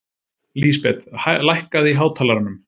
Lísabet, lækkaðu í hátalaranum.